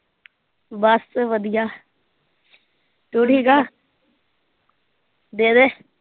ਬਸ ਵਧੀਆ ਤੂੰ ਠੀਕ ਆਂ ਦੇਦੇ